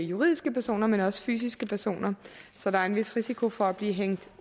juridiske personer men også fysiske personer så der er en vis risiko for at blive hængt